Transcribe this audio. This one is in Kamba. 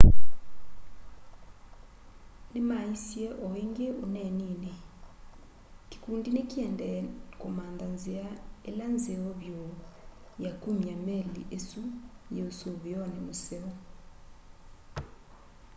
nĩmaisye o ĩngĩ ũneeninĩ kĩkũndi nĩkĩendee kũmantha nzĩa ĩla nzeo vyũ ya kũmya meli ĩsũ yĩ ũsũvĩonĩ mũseo